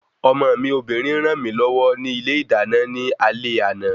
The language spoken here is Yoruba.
Ọmọ mi Obìnrin ràn mí lọ́wọ́ ni ilé ìdáná ní alé àná